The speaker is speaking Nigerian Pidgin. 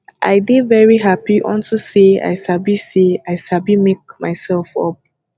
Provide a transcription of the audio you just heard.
i dey very happy unto say i sabi say i sabi make myself up